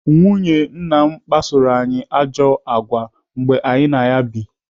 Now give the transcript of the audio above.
Nwunye nna kpasoro anyị àgwà ọjọọ mgbe anyị na ya bụ.